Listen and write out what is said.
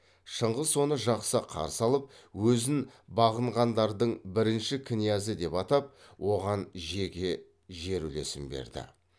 шыңғыс оны жақсы қарсы алып өзін бағынғандардың бірінші князі деп атап оған жеке жер үлесін берді